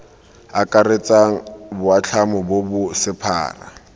akaretsang boatlhamo bo bo sephara